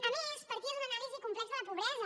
a més partia d’una anàlisi complexa de la pobresa